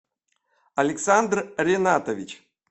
александр ренатович